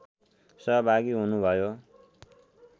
सहभागी हुनुभयो